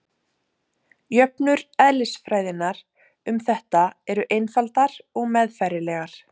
jöfnur eðlisfræðinnar um þetta eru einfaldar og meðfærilegar